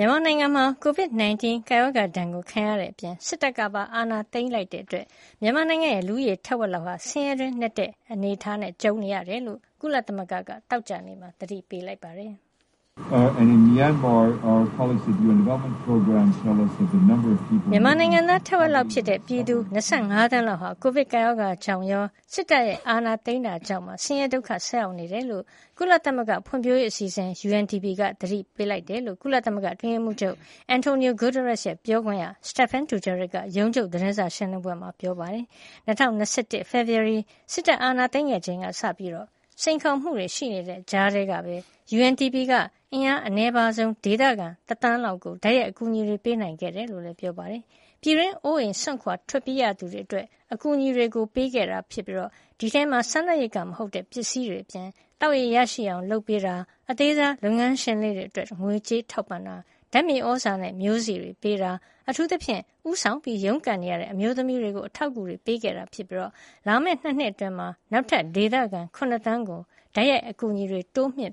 မြန်မာနိုင်ငံမှာ ကိုဗစ် ၁၉ ကပ်ရောဂါ ဒဏ်ခံရတဲ့အပြင် စစ်တပ်ကပါ အာဏာသိမ်းခဲ့တာကြောင့် မြန်မာနိုင်ငံရဲ့ လူဦးရေ ထက်ဝက်လောက်ဟာ ဆင်းရဲတွင်းနက်တဲ့ အခြေနေနဲ့ ကြုံနေရတယ်လို့ ကုလသမဂ္ဂက သောကြာနေ့မှာ သတိပေးလိုက်ပါတယ်။ မြန်မာနိုင်ငံသား ထက်ဝက်လောက်ဖြစ်တဲ့ ပြည်သူ ၂၅ သန်းလောက်ဟာ ကိုဗစ်ကပ်ရောဂါကြောင့်ရော စစ်တပ်အာဏာသိမ်းတာကြောင့်ပါ ဆင်းရဲဒုက္ခ ဆိုက်ရောက်နေတယ်လို့ ကုလသမဂ္ဂဖွံဖြိုးရေးအစီအစဉ် UNDP ကသတိပေးလိုက်ပါတယ် လို့ ကုလအတွင်းရေးမှုးချုပ် Antonio Guterres ရဲ့ ပြောခွင့်ရ Stephane Dujarric က ရုံးချုပ်သတင်းစာရှင်းလင်းပွဲမှာ ပြောသွားတာပါ။ ၂၀၂၁ ဖေဖေါ်ဝါရီ စစ်တပ်အာဏာသိမ်းခဲ့ချိန်ကစပြီး စိန်ခေါ်မှုတွေရှိနေတဲ့ ကြားထဲကပဲ UNDP က အင်အား အနည်းပါးဆုံး ဒေသခံ ၁ သန်းလောက်ကို တိုက်ရိုက်အကူအညီပေးနိုင်ခဲ့တယ် လို့လည်း ပြောပါတယ်။ ပြည်တွင်းအိုးအိမ်စွန့်ခွါ ထွက်ပြေးရသူတွေအတွက် အကူအညီတွေ ပေးခဲ့တာ ဖြစ်ပြီး ဒီအထဲမှာ စားနပ်ရိက္ခာမဟုတ်တဲ့ ပစ္စည်းတွေအပြင် သောက်ရေရရှိအောင် လုပ်ပေးတာ၊ အသေးစားလုပ်ငန်းရှင်လေးတွေ အတွက် ငွေထောက်ပံ့တာ၊ ဓါတ်မြေသြဇာနဲ့ မျိုးစေ့တွေပေးတာ၊ အထူးသဖြင့် ဦးဆောင်ရုန်းကန်နေရတဲ့ အမျိုးသမီးတွေကို အထောက်အကူတွေ ပေးခဲ့တာ ဖြစ်ပြီး လာမယ့် ၂ နှစ်အတွင်း နောက်ထပ် ဒေသခံ ၇ သန်းကိုတိုက်ရိုက် အကူညီတွေ ပေးဖို့ တိုးမြှင့်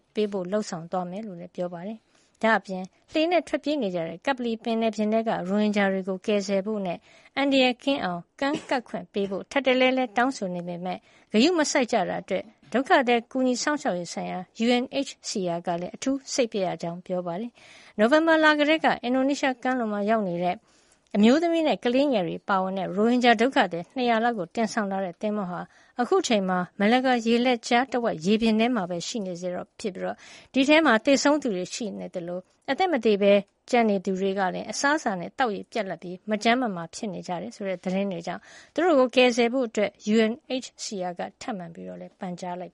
လုပ်ဆောင်သွားမှာ ဖြစ်ကြောင်းလည်း ပြောပါတယ်။ ဒါ့အပြင် လှေနဲ့ထွက်ပြေးနေကြတဲ့ ကပ္ပလီပင်လယ်ပြင်ထဲက ရိုဟင်ဂျာတွေ ကို ကယ်ဆယ်ဖို့နဲ့ အန္တရာယ်ကင်းအောင် ကမ်းကပ်ခွင့်ပေးဖို့ ထပ်တလဲလဲ တောင်းဆိုနေပေမယ့် ဂရုမစိုက်ကြတာအတွက် ဒုက္ခသည်ကူညီစောင့်ရှောက်ရေးဆိုင်ရာ UNHCR ကလည်းအထူးစိတ်ပျက် ရကြောင်း ပြောပါတယ်။ နိုဝင်ဘာလ ကတည်းက အင်ဒိုနီးရှား ကမ်းလွန်မှာ ရောက်နေတဲ့ အမျိုးသမီးနဲ့ ကလေးငယ်တွေ အပါအဝင် ရိုဟင်ဂျာဒုက္ခသည် ၂၀၀ လောက်ကို တင်ဆောင်လာတဲ့ သင်္ဘောဟာ အခုအချိန်မှာ Malacca ရေလက်ကြား တဝိုက် ရေပြင်ထဲမှာရှိနေဆဲ ဖြစ်ပြီး အဲဒီထဲက သေဆုံးသူတွေရှိနေသလို အသက်မသေရှိနေသူတွေလည်း အစားအစာနဲ့ သောက်ရေပြတ်လပ်ပြီး မကျန်းမာပဲ ဖြစ်နေတယ် ဆိုတဲ့ သတင်းတွေကြောင့် သူတို့ကို ကယ်ဆယ်ဖို့ UNHCR က ထပ်မံ ပန်ကြားလိုက်